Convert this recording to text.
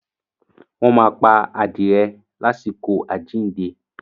wọ́n máa pa adìrẹ lásìkò “ àjíìnde”.